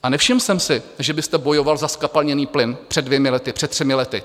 A nevšiml jsem si, že byste bojoval za zkapalněný plyn před dvěma lety, před třemi lety.